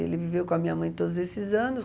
Ele viveu com a minha mãe todos esses anos.